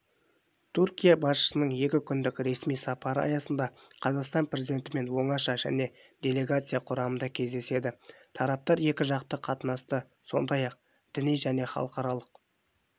түркия басшысының екі күндік ресми сапары аясында қазақстан президентімен оңаша және делегация құрамында кездеседі тараптар екіжақты қатынасты сондай-ақ діни және халықаралық